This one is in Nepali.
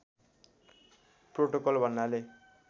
प्रोटोकल भन्नाले